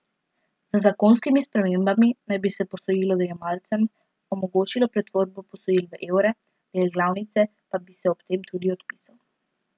Z zakonskimi spremembami naj bi se posojilojemalcem omogočilo pretvorbo posojil v evre, del glavnice pa bi se ob tem tudi odpisal.